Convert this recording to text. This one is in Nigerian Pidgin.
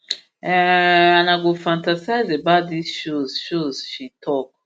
um and i go fantasise about dis shows shows she tok